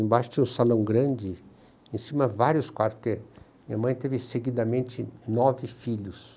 Embaixo tinha um salão grande, em cima vários quartos, porque minha mãe teve seguidamente nove filhos.